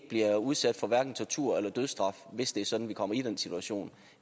bliver udsat for tortur eller dødsstraf hvis det er sådan at vi kommer i den situation